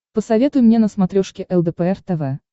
посоветуй мне на смотрешке лдпр тв